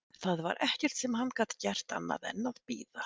Það var ekkert sem hann gat gert annað en að bíða.